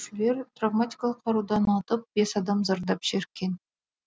күзетушілер травматикалық қарудан атып бес адам зардап шеккен